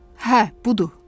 Hə, budur.